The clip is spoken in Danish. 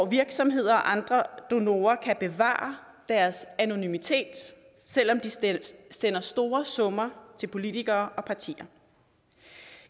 virksomheder og andre donorer kan bevare deres anonymitet selv om de sender store summer til politikere og partier